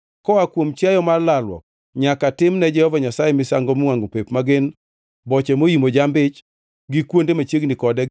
Koa kuom chiwo mar lalruok nyaka tim ne Jehova Nyasaye misango miwangʼo pep ma gin: boche moimo jamb-ich gi kuonde machiegni kode,